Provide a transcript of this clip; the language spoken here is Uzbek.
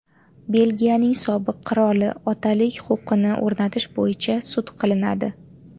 Belgiyaning sobiq qiroli otalik huquqini o‘rnatish bo‘yicha sud qilinadi.